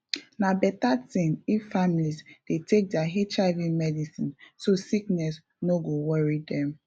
na better thing if families dey take their hiv medicine so sickness no go worry dem